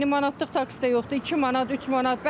İndi manatlıq taksi də yoxdur, 2 manat, 3 manat.